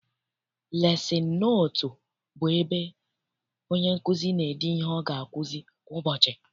Lesin notu bụ ebe onye nkụzi n'ede ihe ọ ga akuzi kwa ụbọchị.